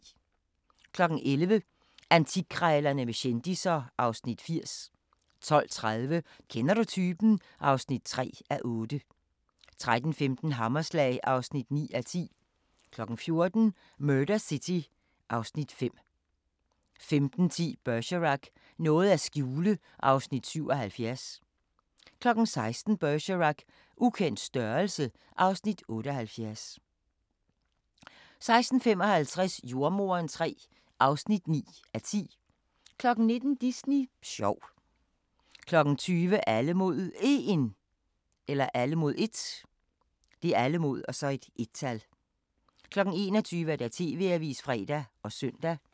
11:00: Antikkrejlerne med kendisser (Afs. 80) 12:30: Kender du typen? (3:8) 13:15: Hammerslag (9:10) 14:00: Murder City (Afs. 5) 15:10: Bergerac: Noget at skjule (Afs. 77) 16:00: Bergerac: Ukendt størrelse (Afs. 78) 16:55: Jordemoderen III (9:10) 19:00: Disney sjov 20:00: Alle mod 1 21:00: TV-avisen (fre og søn)